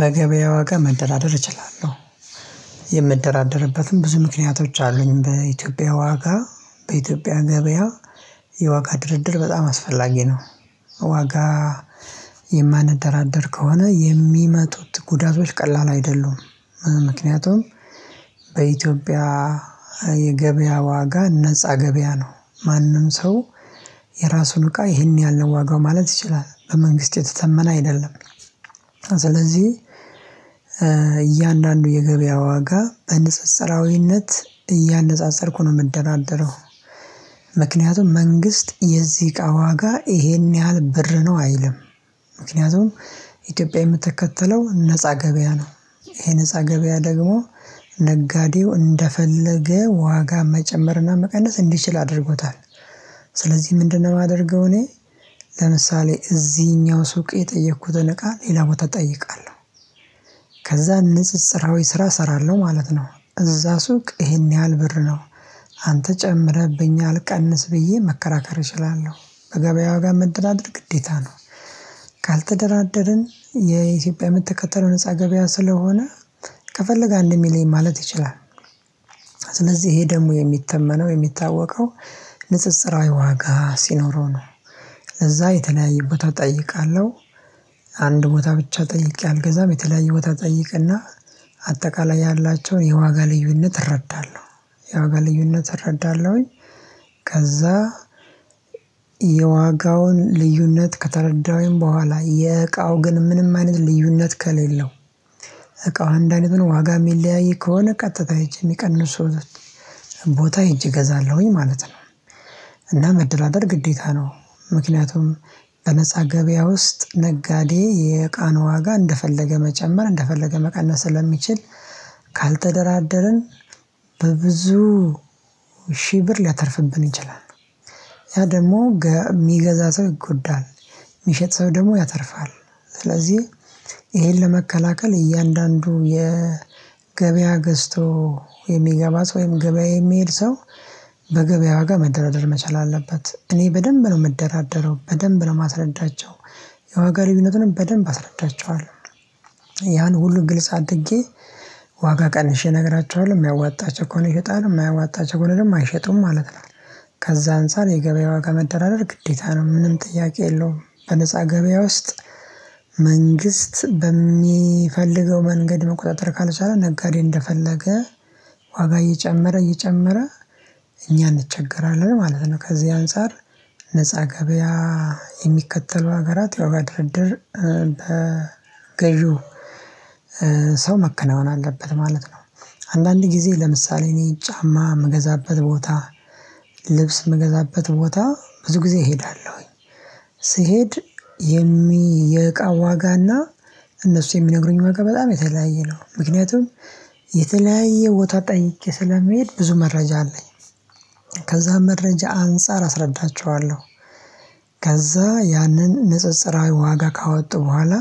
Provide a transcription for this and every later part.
በገበያ ዋጋ መደራደር እችላለሁ። የምደራደርበትም ብዙ ምክንያቶች አሉኝ። በኢትዮጵያ ዋጋ በኢትዮጵያ ገበያ የዋጋ ድርድር በጣም አስፈላጊ ነው። ዋጋ የማነደራደር ከሆነ የሚመጡት ጉዳቶች ቀላል አይደሉም። ምክንያቱም በኢትዮጵያ የገበያ ዋጋ ነፃ ገበያ ነው። ማንም ሰው የራሱን እቃ ይሄን ያህል ዋጋ ማለት ይችላል። በመንግስት የተተመነ አይደለም። ስለዚህ እያንዳንዱ የገበያ ዋጋ በንጽጽራዊነት እያነፃፀርኩ ነው የምደራደረው። ምክንያቱም መንግስት የዚህ እቃ ዋጋ ይሄን ያህል ብር ነው አይልም። ምክንያቱም ኢትዮጵያ የምትከተለው ነፃ ገበያ ነው። ይሄ ነፃ ገበያ ደግሞ ነጋዴው እንደፈለገ ዋጋ መጨመርና መቀነስ እንዲችል አድርጎታል። ስለዚህ ምንድነው የማደርገው እኔ ለምሳሌ እዚህኛው ሱቅ የጠየኩትን እቃ ሌላ ቦታ እጠይቃለሁ። ከዛ ንጽጽራዊ ስራ እሰራለሁ ማለት ነው። እዛ ሱቅ ይሄን ያህል ብር ነው፤ አንተ ጨምረህብኛል ቀንስ ብዬ መከራከር እችላለሁ። በገበያው ጋር መደራደር ግዴታ ነው። ካልተደራደርን የኢትዮጵያ ምትከተለው ነፃ ገበያ ስለሆነ ከፈለገ አንድ የሚለኝ ማለት ይችላል። ስለዚህ ይሄ ደግሞ የሚተመነው የሚታወቀው ንጽጽራዊ ዋጋ ሲኖረው ነው። እዛ የተለያየ ቦታ እጠይቃለሁ። አንድ ቦታ ብቻ ጠይቄ አልገዛም። የተለያየ ቦታ ጠይቅና አጠቃላይ ያላቸውን የዋጋ ልዩነት እረዳለሁ። የዋጋ ልዩነት እረዳለሁኝ። ከዛ የዋጋውን ልዩነት ከተረዳሁኝ በኋላ የእቃው ግን ምንም አይነት ልዩነት ከሌለው እቃው አንድ አይነት ነው። ዋጋ የሚለያይ ከሆነ ቀጥታ ሄጄ የሚቀንሱት ቦታ ሄጄ እገዛለሁኝ ማለት ነው። እና መደራደር ግዴታ ነው። ምክንያቱም በነፃ ገበያ ውስጥ ነጋዴ የእቃን ዋጋ እንደፈለገ መጨመር እንደፈለገ መቀነስ ስለሚችል ካልተደራደርን በብዙ ሺህ ብር ሊያተርፍብን ይችላል። ያ ደግሞ የሚገዛ ሰው ይጎዳል። የሚሸጥ ሰው ደግሞ ያተርፋል። ስለዚህ ይሄን ለመከላከል እያንዳንዱ የገበያ ገዝቶ የሚገባ ሰው ወይም ገበያ የሚሄድ ሰው በገበያ ዋጋ መደራደር መቻል አለበት። እኔ በደንብ ነው የምደራደረው። በደንብ ነው የማስረዳቸው። የዋጋ ልዩነቱንም በደንብ አስረዳቸዋለሁ። ያን ሁሉን ግልጽ አድጌ ዋጋ ቀንሼ ነግራችኋለሁ። የሚያዋጣቸው ከሆነ ይሸጣሉ የማያዋጣቸው ከሆነ ደግሞ አይሸጡም ማለት ነው። ከዛ አንፃር የገበያ ዋጋ መደራደር ግዴታ ነው። ምንም ጥያቄ የለውም። በነፃ ገበያ ውስጥ መንግስት በሚፈልገው መንገድ መቆጣጠር ካልቻለ ነጋዴ እንደፈለገ ዋጋ እየጨመረ እየጨመረ እኛ እንቸገራለን ማለት ነው። ከዚህ አንፃር ነፃ ገበያ የሚከተሉ ሀገራት የዋጋ ድርድር በገዢው ሰው መከናወን አለበት ማለት ነው። አንዳንድ ጊዜ ለምሳሌ እኔ ጫማ የምገዛበት ቦታ ልብስ የምገዛበት ቦታ ብዙ ጊዜ እሄዳለሁኝ። ስሄድ የሚ የእቃ ዋጋና እነሱ የሚነግሩኝ ዋጋ በጣም የተለያየ ነው። ምክንያቱም የተለያየ ቦታ ጠይቄ ስለመሄድ ብዙ መረጃ አለኝ። ከዛ መረጃ አንፃር አስረዳቸዋለሁ። ከዛ ያንን ንጽጽራዊ ዋጋ ካወጡ በኋላ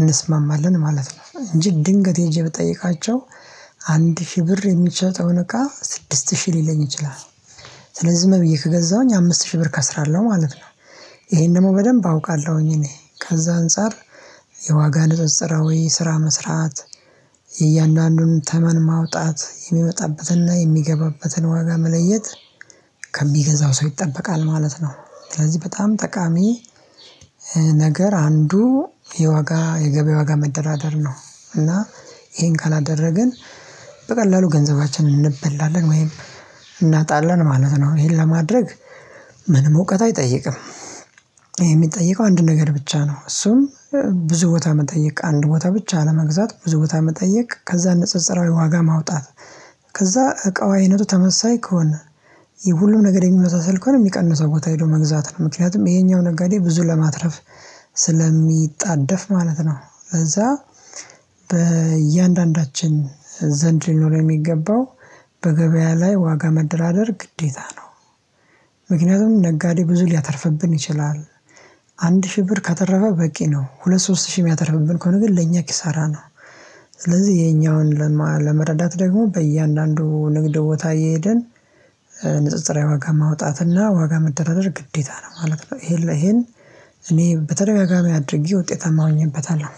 እንስማማለን ማለት ነው። እንጂ ድንገት ሄጄ ብጠይቃቸው አንድ ሺህ ብር የሚሸጠውን እቃ ስድስት ሺህ ሊለኝ ይችላል። ስለዚህ ዝም ብዬ ከገዛሁኝ አምስት ሺህ ብር እከስራለሁ ማለት ነው። ይሄን ደግሞ በደንብ አውቃለሁኝ እኔ። ከዛ አንፃር የዋጋ ንጽጽራዊ ስራ መስራት እያንዳንዱን ተመን ማውጣት የሚመጣበትንና የሚገባበትን ዋጋ መለየት ከሚገዛው ሰው ይጠበቃል ማለት ነው። ስለዚህ በጣም ጠቃሚ ነገር አንዱ የዋጋ የገበያ ዋጋ መደራደር ነው። እና ይሄን ካላደረግን በቀላሉ ገንዘባችንን እንበላለን ወይም እናጣለን ማለት ነው። ይሄን ለማድረግ ምንም እውቀት አይጠይቅም። የሚጠይቀው አንድ ነገር ብቻ ነው። እሱም ብዙ ቦታ መጠየቅ አንድ ቦታ ብቻ አለመግዛት ብዙ ቦታ መጠየቅ። ከዛ ንጽጽራዊ ዋጋ ማውጣት። ከዛ እቃው አይነቱ ተመሳሳይ ከሆነ ሁሉም ነገር የሚመሳሰል ከሆነ የሚቀንሰው ቦታ ሄዶ መግዛት ነው። ምክንያቱም ይሄኛው ነጋዴ ብዙ ለማትረፍ ስለሚጣደፍ ማለት ነው። ከዛ በእያንዳንዳችን ዘንድ ሊኖር የሚገባው በገበያ ላይ ዋጋ መደራደር ግዴታ ነው። ምክንያቱም ነጋዴ ብዙ ሊያተርፍብን ይችላል። አንድ ሺህ ብር ካተረፈ በቂ ነው። ሁለት ሺህ ሶስት ሺህ የሚያተርፍብን ከሆነ ግን ለእኛ ኪሳራ ነው። ስለዚህ የኛውን ለመረዳት ደግሞ በእያንዳንዱ ንግድ ቦታ እየሄደን ንጽጽራዊ ዋጋ ማውጣትና ዋጋ መደራደር ግዴታ ነው ማለት ነው። ይሄን እኔ በተደጋጋሚ አድርጌ ውጤታማ ሁኜበታለሁ።